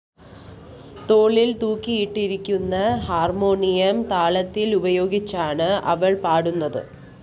തോളില്‍ തൂക്കിയിട്ടിരിക്കുന്ന ഹാർമോണിയം താളത്തില്‍ ഉപയോഗിച്ചാണ് അവള്‍ പാടുന്നത്